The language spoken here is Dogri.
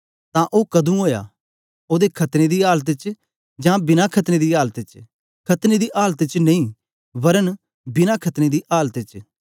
तां ओ क्दूं ओया ओदे खतना दी आलत च जां बिना खतने दी आलत च खतने दी आलत च नेई वरन् बिना खतने दी आलत च